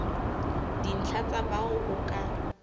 dintlha tsa bao o ka